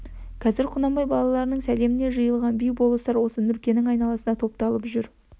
қазір құнанбай балаларының сәлемімен жиылған би болыстар осы нұркенің айналасына топталып жүр